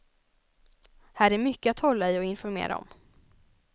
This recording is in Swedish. Här är mycket att hålla i och informera om.